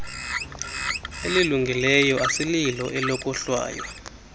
elilungileyo asililo elokohlwaya